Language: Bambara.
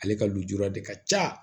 Ale ka lujura de ka ca